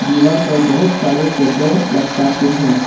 दीवार पर बहुत सारे फोटो लटकाके हैं।